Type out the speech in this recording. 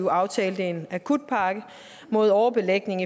år aftalte en akutpakke mod overbelægning